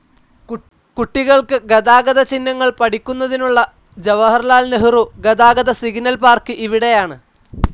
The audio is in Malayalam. കുട്ടികൾക്ക് ഗതാഗത ചിഹ്നങ്ങൾ പഠിക്കുന്നതിനുള്ള ജവഹർലാൽ നെഹ്രു ഗതാഗത സിഗ്നൽ പാർക്ക്‌ ഇവിടെയാണ്.